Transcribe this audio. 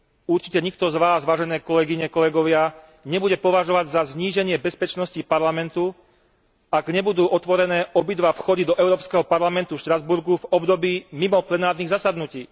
Určite nikto z vás, vážené kolegyne, kolegovia, nebude považovať za zníženie bezpečnosti Parlamentu, ak nebudú otvorené obidva vchody do Európskeho parlamentu v Štrasburgu v období mimo plenárnych zasadnutí.